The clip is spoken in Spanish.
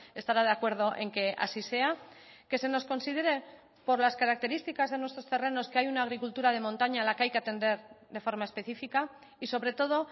estará de acuerdo en que así sea que se nos considere por las características de nuestros terrenos que hay una agricultura de montaña a la que hay que atender de forma específica y sobre todo